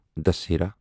دٔسیٖراہ